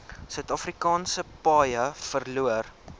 suidafrikaanse paaie verloor